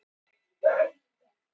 Vissi af því haldreipi.